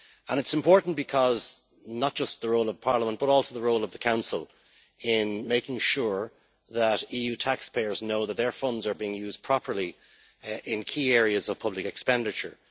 It is important not just because of the role of Parliament, but also the role of the Council in making sure that EU taxpayers know that their funds are being used properly in key areas of public expenditure.